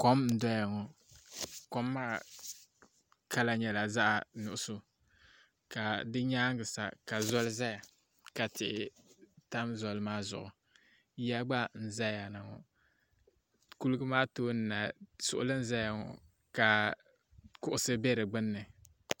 Kom n doya ŋɔ kom maa kala nyɛla zaɣi nuɣiso ka si yɛanga sa ka zoli zaya ka tihi tam zoli maa zuɣu yiya gba zaya na ŋɔ koliga maa tooni na suɣuli n zaya na ŋɔ ka kuɣusi bɛ di gbuni .